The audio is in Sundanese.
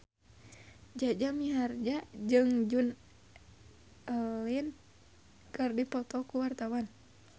Jaja Mihardja jeung Joan Allen keur dipoto ku wartawan